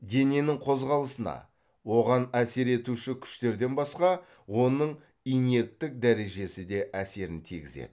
дененің қозғалысына оған әсер етуші күштерден басқа оның инерттік дәрежесі де әсерін тигізеді